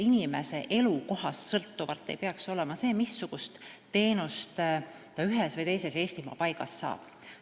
Inimese elukohast ei peaks sõltuma see, missugust teenust ta ühes või teises Eestimaa paigas saab.